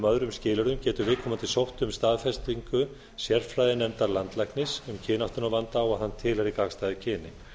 öðrum skilyrðum getur viðkomandi sótt um staðfestingu sérfræðinefndar landlæknis um kynáttunarvanda og hann tilheyri gagnstæðu kyni